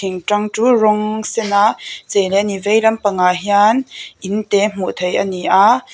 thing tang chu rawng sena chei a ni veilam pangah hian in te hmuh theih ania--